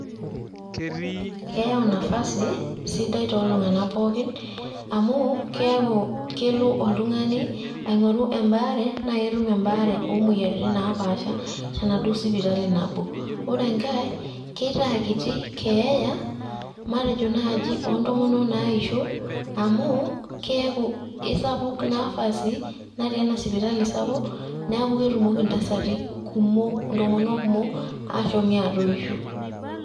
Keyau nafasi sidai to iltung'anak pookin ,amu keeku kelo oltung'ani aing'oru ebaare na ketum ebaare omoyiaritin napaasha tenaduo sipitali nabo. Ore nkae, keitaa kiti keeya ,matejo naaji ontomonok naishoo, amu keeku kesapuk nafasi natii ena sipitali sapuk neeku ketumoki ntasati kumok ntomono kumok ashomi atoisho.